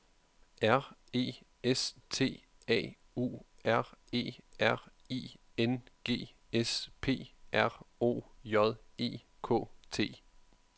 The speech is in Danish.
R E S T A U R E R I N G S P R O J E K T